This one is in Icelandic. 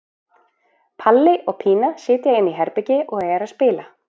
Palli og Pína sitja inni í herbergi og eru að spila.